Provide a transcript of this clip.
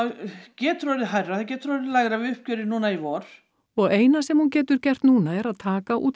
getur orðið hærra getur orðið lægra við uppgjörið núna í vor og eina sem hún getur gert núna er að taka út